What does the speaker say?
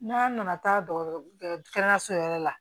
N'an nana taa kɛnɛyaso yɛrɛ la